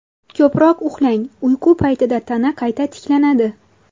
Ko‘proq uxlang Uyqu paytida tana qayta tiklanadi.